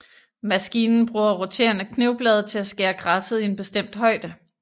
Maskinen bruger roterende knivblade til at skære græsset i en bestemt højde